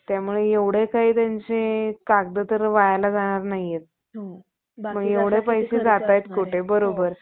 टक विद्येच्या हिमालयी~ हिमालयतेने अज्ञानी क्षुद्रास उपदेश करून त्यांच्या मनात इंग्रज सरकारचा द्वेष भारावितांना, झपाटा साथ दिला.